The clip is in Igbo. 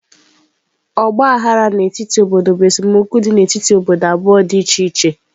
Ọgba aghara n'etiti obodo bụ esemokwu dị n'etiti obodo abụọ dị iche iche.